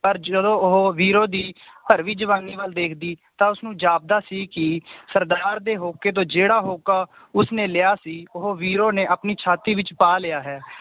ਪਰ ਜਦੋਂ ਉਹ ਵੀਰੋ ਦੀ ਭਰਦਵੀਂ ਜਵਾਨੀ ਵੱਲ ਵੇਖਦੀ ਤਾਂ ਉਸਨੂੰ ਜਾਪਦਾ ਸੀ ਕਿ ਸਰਦਾਰ ਦੇ ਹੋਕੇ ਤੋਂ ਜਿਹੜਾ ਹੋਕਾ ਉਸਨੇ ਲਿਆ ਸੀ ਉਹ ਵੀਰੋ ਨੇ ਆਪਣੀ ਛਾਤੀ ਵਿਚ ਪਾ ਲਿਆ ਹੈ